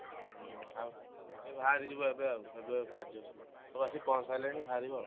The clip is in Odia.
ହଉ ଏଇ ବାହାରିଯିବୁ ଏବେ ଆଉ ଏବେ ସବୁ ଆସି ପହଁଞ୍ଚିସାରିଲେଣି ବାହାରିବ ଆଉ।